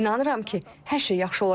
İnanıram ki, hər şey yaxşı olacaq.